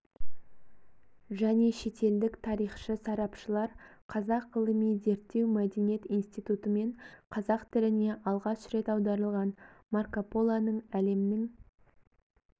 және шетелдік тарихшы-сарапшылар қазақ ғылыми-зерттеу мәдениет институтымен қазақ тіліне алғаш рет аударылған марко полоның әлемнің